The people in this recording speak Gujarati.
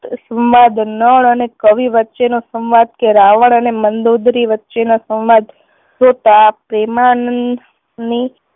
સંવાદન નળ અને કવિ વચ્ચે નો સંવાદ કે રાવણ અને મંદોદરી વચ્ચે નો સંવાદ જોતાં પ્રેમાનંદની